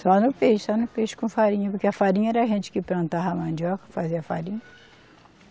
Só no peixe, só no peixe com farinha, porque a farinha era a gente que plantava a mandioca, fazia a farinha.